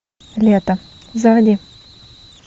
лето заводи